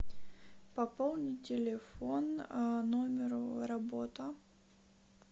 пополни телефон номеру работа